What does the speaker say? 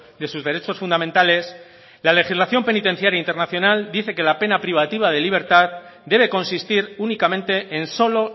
de sus derechos fundamentales la legislación penitenciaria internacional dice que la pena privativa de libertad debe consistir únicamente en solo